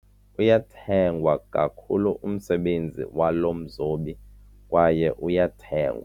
Uyathengwa kakhulu umsebenzi walo mzobi kwaye uyathengwa.